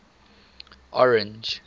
orange